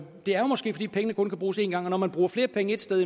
det er måske fordi pengene kun kan bruges en gang og når man bruger flere penge et sted